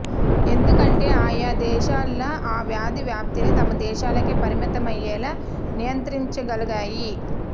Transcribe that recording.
ఎందుకంటే ఆయా దేశాలు ఆ వ్యాధి వ్యాప్తిని తమ దేశాలకే పరిమితమయ్యేలా నియంత్రించగలిగాయి